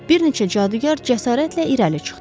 Bir neçə cadugar cəsarətlə irəli çıxdı.